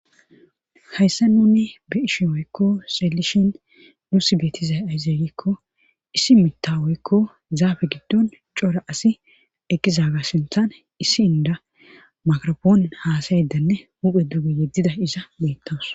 Hayssa nuni bi ishi woykko seelishin nuusi beetizay ay zeeygikko issi mitta woykko zaabe giddon cora asi eqqi zaaga sinthan issi inda makrapoon haasayeddanne huphe duge yeddida iza beettaws.